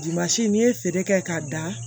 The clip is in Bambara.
n'i ye feere kɛ k'a da